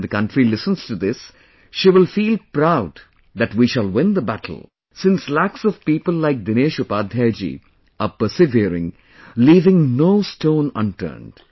When the country listens to this, she will feel proud that we shall win the battle, since lakhs of people like Dinesh Upadhyaya ji are persevering, leaving no stone unturned